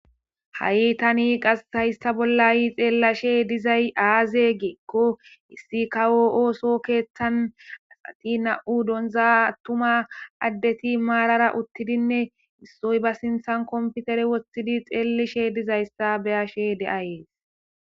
Ha'i tani qashayista bollayi xeellashe dizay aaze geekko issi ka woo'ooso keeththan asati na'u donza attuma addeti maarara uttidinne issoy ba sinthan komfutere wossidi xeellishe dizayssa beyashe de'ayees.